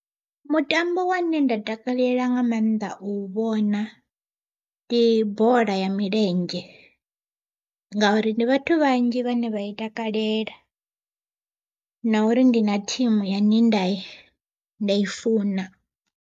Mutambo wane nda takalela nga maanḓa u vhona ndi bola ya milenzhe, ngauri ndi vhathu vhanzhi vhane vha i takalela na uri ndi na thimu yane nda nda i funa.